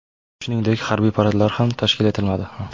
Shuningdek, harbiy paradlar ham tashkil etilmadi.